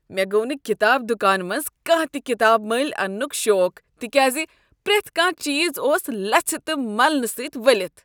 مےٚ گوو نہٕ کتاب دکانہٕ منٛز کانٛہہ تِہ کتاب ملۍ اننُک شوق تِکیازِ پریتھ کانٛہہ چیز اوس لَژِھہٕ تہٕ ملنہ سۭتۍ ؤلِتھ ۔